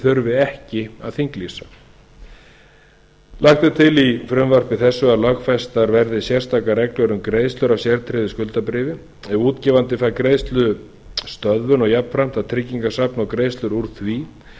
þurfi ekki að þinglýsa lagt er til í frumvarpi þessu að lögfestar verði sérstakar reglur um greiðslur af sértryggðu skuldabréfi ef útgefandi fær greiðslustöðvun og jafnframt að tryggingasafn og greiðslur úr því